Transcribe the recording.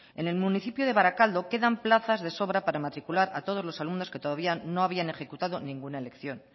en el municipio de barakaldo quedan plazas de sobra para matricular a todos los alumnos que todavía no habían ejecutado ninguna elección